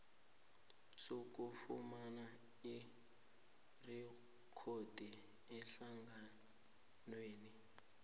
sokufumana irikhodi ehlanganweni